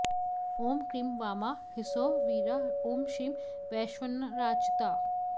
ॐ क्रीं वामा ह्सौः वीरा ॐ श्रीं वैश्वानरार्चिता